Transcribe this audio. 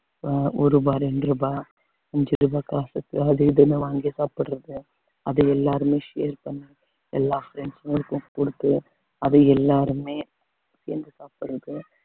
அஹ் ஒரு ரூபாய் இரண்டு ரூபாய் அஞ்சு ரூபாய் காசுக்கு அது இதுன்னு வாங்கி சாப்பிடறது அது எல்லாருமே share பண்ணுங்க எல்லா friends களுக்கும் கொடுத்து அத எல்லாருமே சேர்ந்து சாப்பிடறது